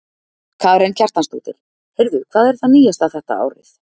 Karen Kjartansdóttir: Heyrðu, hvað er það nýjasta þetta árið?